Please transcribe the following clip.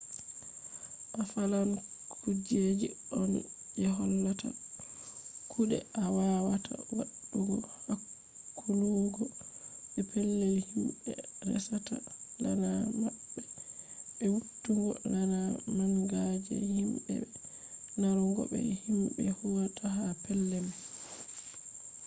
a falan kujeji on je hollata kuɗe a wawata waɗugo hakkuluggo be pellel himɓe resata laana maɓɓe be wittugo laana manga je himɓe be narrugo be himɓe huwata ha pellel man